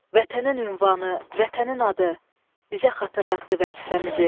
Vətənin ünvanı, vətənin adı, bizə xatırlatdı vəzifəmizi.